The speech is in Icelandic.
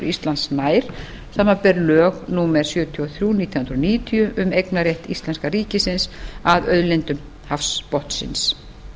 íslands nær samanber lög númer sjötíu og þrjú nítján hundruð níutíu um eignarrétt íslenska ríkisins að auðlindum hafsbotnsins